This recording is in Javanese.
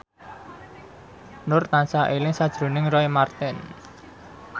Nur tansah eling sakjroning Roy Marten